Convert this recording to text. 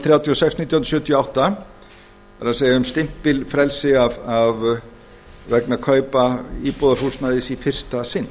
þrjátíu og sex nítján hundruð sjötíu og átta það er um stimpilfrelsi vegna kaupa íbúðarhúsnæði í fyrsta sinn